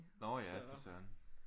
Nå ja for Søren